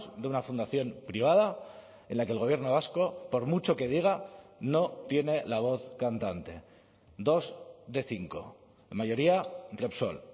de una fundación privada en la que el gobierno vasco por mucho que diga no tiene la voz cantante dos de cinco mayoría repsol